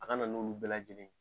A ka na n'olu bɛɛ lajɛlen ye